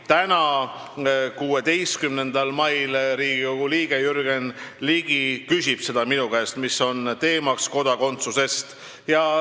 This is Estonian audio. Täna, 16. mail, küsib Riigikogu liige Jürgen Ligi minu käest ja teema on kodakondsus.